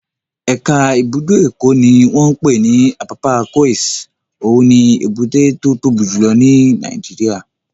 Ẹ̀ka ibùdó Èkó ní wọ́n pè ní Apapa Quays, òun ni èbúté tó tóbi jù lọ ní Nàìjíríyà